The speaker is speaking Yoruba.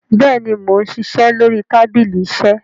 béèni món ṣiṣẹ lórí tábìlì iṣe.